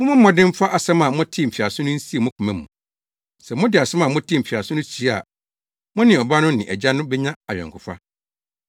Mommɔ mmɔden mfa asɛm a motee mfiase no nsie mo koma mu. Sɛ mode asɛm a motee mfiase no sie a, mo ne Ɔba no ne Agya no benya ayɔnkofa.